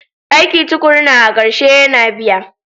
Aiki tukuruna a ƙarshe yana biya.